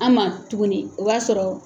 An ma tuguni o b'a sɔrɔ.